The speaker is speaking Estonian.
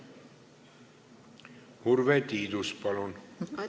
Urve Tiidus, palun!